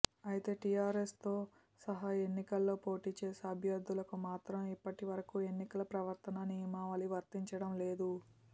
అయితే టీఆర్ఎస్తో సహా ఎన్నికల్లో పోటీ చేసే అభ్యర్థులకు మాత్రం ఇప్పటి వరకు ఎన్నికల ప్రవర్తనా నియమావళి వర్తించడం లేదు